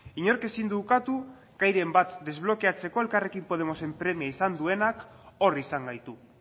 inork ezin du ukatu gairen bat desblokeatzeko elkarrekin podemosen premia izan duenak hor izan gaitu